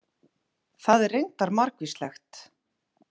Það er reyndar margvíslegt.